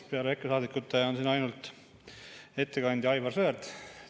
Peale EKRE saadikute on siin ainult ettekandja Aivar Sõerd.